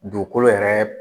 Dugukolo yɛrɛ